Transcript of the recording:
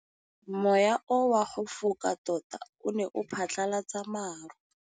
Mowa o wa go foka tota o ne wa phatlalatsa maru.